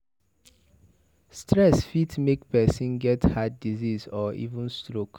Stress fit make person get heart disease or even stoke